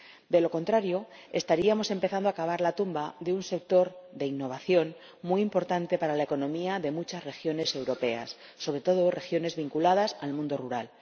De lo contrario, estaríamos empezando a cavar la tumba de un sector de innovación muy importante para la economía de muchas regiones europeas, sobre todo regiones vinculadas al mundo rural.